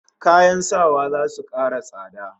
Kayan sawa zasu kara tsada